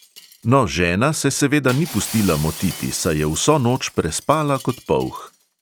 No, žena se seveda ni pustila motiti, saj je vso noč prespala kot polh.